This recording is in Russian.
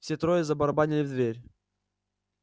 все трое забарабанили в дверь